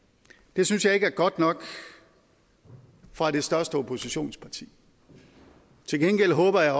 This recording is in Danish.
det synes jeg ikke er godt nok fra det største oppositionsparti til gengæld håber jeg